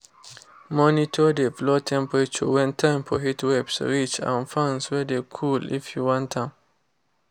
monitor de floor temperature when time for heatwaves reach and fans wey de cool if you want am.